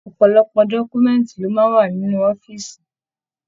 Ọpọlọpọ dọkumẹ̀ntí ló máa n wà nínú ọ̀fiísí.